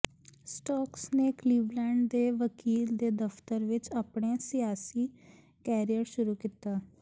stocks ਨੇ Cleveland ਦੇ ਵਕੀਲ ਦੇ ਦਫਤਰ ਵਿੱਚ ਆਪਣੇ ਸਿਆਸੀ ਕੈਰੀਅਰ ਸ਼ੁਰੂ ਕੀਤਾ